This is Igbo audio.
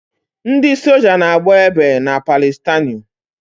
Ndị soja na-agba egbe na Palịstaịnụ